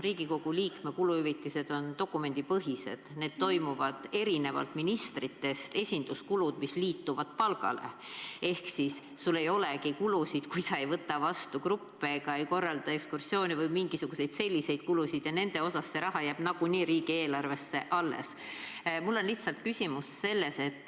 Riigikogu liikme kuluhüvitised on dokumendipõhised – erinevalt ministritest, kelle esinduskulud liituvad palgale ka siis, kui sul ei olegi kulusid, kui sa ei võta vastu gruppe ega ei korralda ekskursioone või sul pole mingisuguseid muid selliseid kulusid.